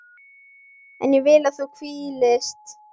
En ég vil að þú hvílist.